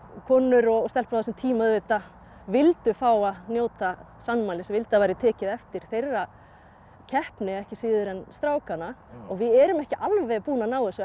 konur og stelpur á þessum tíma auðvitað vildu fá að njóta sannmælis vildu að það væri tekið eftir þeirra keppni ekki síður en strákanna og við erum ekki alveg búin að ná þessu